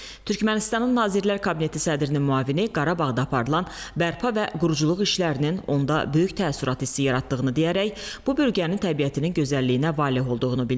Türkmənistanın Nazirlər Kabineti sədrinin müavini Qarabağda aparılan bərpa və quruculuq işlərinin onda böyük təəssürat hissi yaratdığını deyərək, bu bölgənin təbiətinin gözəlliyinə valeh olduğunu bildirdi.